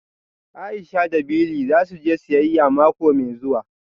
Aisha da Bili za su je siyayya mako mai zuwa